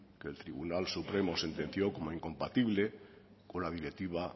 que el tribunal supremo sentenció como incompatible con la directiva